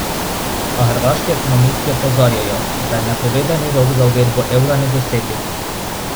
A hrvaški ekonomisti opozarjajo, da je napovedani rok za uvedbo evra nedosegljiv.